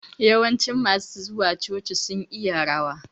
Yawancin masu zuwa coci sun iya rawa